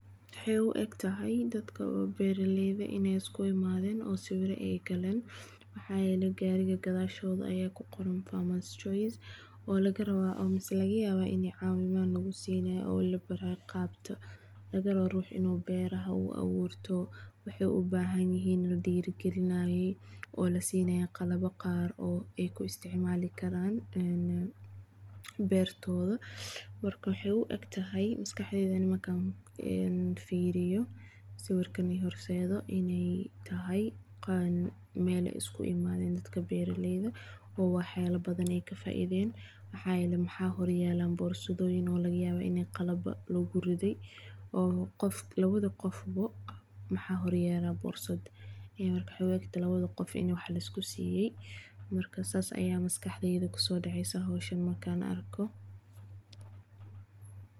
Waxay uigtahay dadka oo beraleyda eh inay iskuimaden oo sawiro ayay galeen gari gadashod aya kugoran farmers choice oo lagarawa mise lagayaba inay cawimad lagusinayo lagarawo ruux inu beraha uu aburto wuxu ubahanyahay ladiri galiyo oo lasinayo qalabo gaar oo ay kuisticmalikaraan een bertoda, marka waxay uigtahay maskaxdeyda ani markan firiyo sawirka horseso inay tahay mel ay iakuimaden dadka beraleyda oowaxyabo badan ay kafaideen, maxayele waxa horyala borsadoyin oo lagayawo ini qalaba laguriday, oo lawada gofbo maxa horyala borsada ee marka waxay uegtahay in lawadi gofbo kiakusisay, marka sas aya maskaxdeyda kusodeceysa howshaan markan arko.